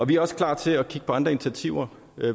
vi er også klar til at kigge på andre initiativer